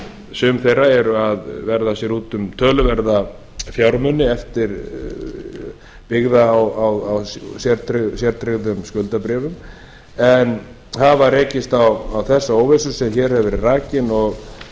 sum þeirra eru að verða sér út um töluverða fjármuni byggða á sértryggðum skuldabréfum en hafa rekist á þessa óvissu sem hér hefur verið rakin og er